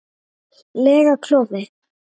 lega klofi.